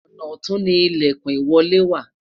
ọnà ọtun ni ilekun ìwọlé wa